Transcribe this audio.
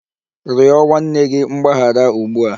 Rịọ nwanne gị mgbaghara ugbu a!